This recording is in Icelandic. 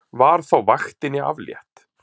Var þá vaktinni aflétt.